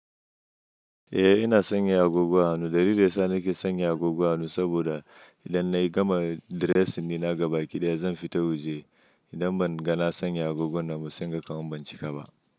Eh ina sanya agogo a hannu, dalilin riga da yasa nake sanya agogon hannu saboda idan na yi gama dressing dina ga baki da zan fita waje, idan ban ga na sanya agogon nan ba sai inga kaman ban cika ba.